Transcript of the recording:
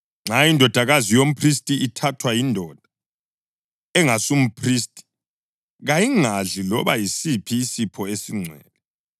Nxa indodakazi yomphristi ithathwa yindoda engasumphristi, kayingadli loba yisiphi isipho esingcwele.